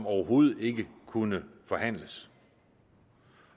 overhovedet ikke kunne forhandles